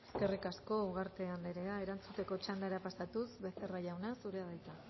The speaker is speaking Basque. eskerrik asko ugarte anderea erantzuteko txandara pasatuz becerra jauna zurea da hitza